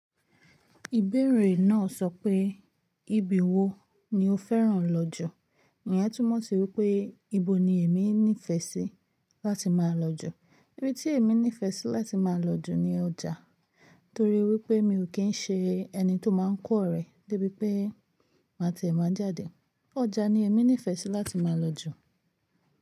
Ìbéèrè náà sọ pé, ibi wo ni o fẹ́ràn lọ jù? Ǹ yẹ́ túmọ̀ sí wípé ibo ni èmi nífẹ̀ẹ́ sí láti máa lọ jù? Ibi tí èmi nífẹ̀ẹ́ sí láti máa lọ jù ni ọjà. Torí wípé mi ò kí ń ṣe ẹni tó máa ń kọ́rẹ̀ débi pé máa tẹ́ ẹ máa jáde. Ọjà ni èmi nífẹ̀ẹ́ sí láti máa lọ jù.